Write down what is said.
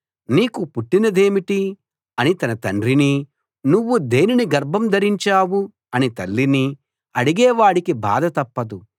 నీకు పుట్టినదేమిటి అని తన తండ్రినీ నువ్వు దేనిని గర్భం ధరించావు అని తల్లినీ అడిగే వాడికి బాధ తప్పదు